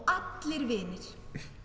allir vinir